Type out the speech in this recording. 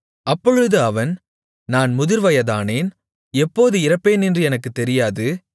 அப்பொழுது அவன் நான் முதிர்வயதானேன் எப்போது இறப்பேனென்று எனக்குத் தெரியாது